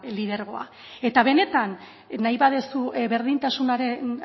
lidergoa eta benetan nahi baduzu berdintasunaren